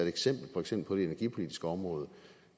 eksempel for eksempel på det energipolitiske område